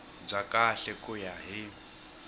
bya kahle ku ya hi